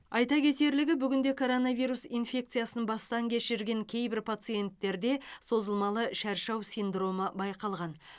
айта кетерлігі бүгінде коронавирус инфекциясын бастан кешірген кейбір пациенттерде созылмалы шаршау синдромы байқалған